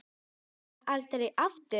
Kemur aldrei aftur.